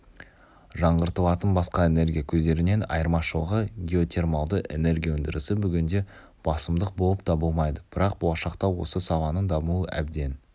жаңғыртылатын басқа энергия көздерінен айырмашылығы геотермалды энергия өндірісі бүгінде басымдық болып табылмайды бірақ болашақта осы саланың дамуы әбден